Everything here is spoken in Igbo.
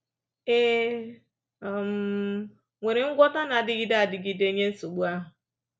È um nwere ngwọta na-adịgide adịgide nye nsogbu ahụ?